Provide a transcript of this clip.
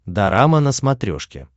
дорама на смотрешке